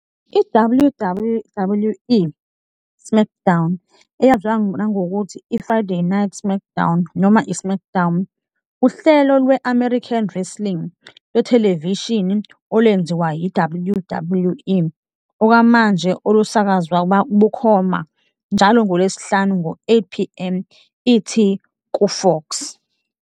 I-WWWE SmackDown, eyaziwa nangokuthi i- Friday Night SmackDown noma i- SmackDown, uhlelo lwe-American wrestling lwethelevishini olwenziwa yi- WWE okwamanje olusakazwa bukhoma njalo ngoLwesihlanu ngo-8pm ET kuFox.